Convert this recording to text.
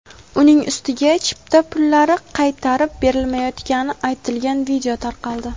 uning ustiga chipta pullari qaytarib berilmayotgani aytilgan video tarqaldi.